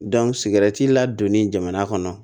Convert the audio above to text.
ladonni jamana kɔnɔ